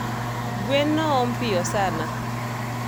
Gwen noom piyo sana